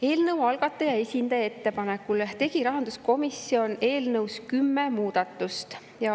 Eelnõu algataja esindaja ettepanekul tegi rahanduskomisjon eelnõus kümme muudatust.